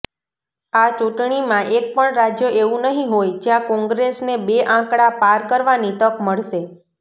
આ ચૂંટણીમાં એકપણ રાજ્ય એવું નહીં હોય જ્યાં કોંગ્રેસને બે આંકડા પાર કરવાની તક મળશે